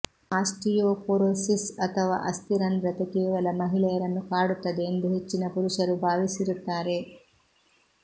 osteoporosis ಅಥವಾ ಅಸ್ಥಿರಂಧ್ರತೆ ಕೇವಲ ಮಹಿಳೆಯರನ್ನು ಕಾಡುತ್ತದೆ ಎಂದು ಹೆಚ್ಚಿನ ಪುರುಷರು ಭಾವಿಸಿರುತ್ತಾರೆ